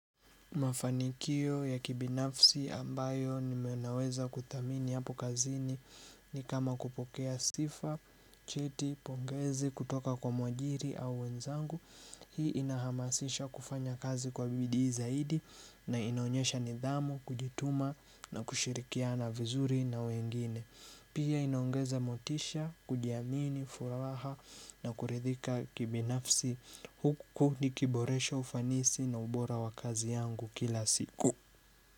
Mafanikio ya kibinafsi ambayo nimenaweza kuttamini hapo kazini ni kama kupokea sifa, cheti, pongezi, kutoka kwa mwajiri au wenzangu Hii inahamasisha kufanya kazi kwa bidii zaidi na inaonyesha nidhamu, kujituma na kushirikiana vizuri na wengine Pia inaongeza motisha, kujiamini, furaha na kurithika kibinafsi huku nikiboresha ufanisi na ubora wakazi yangu kila siku.